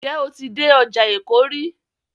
Ǹ jẹ́ o ti dé ọjà Èkó rí?